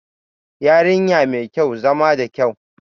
Yarinya mai kyau, zama da kyau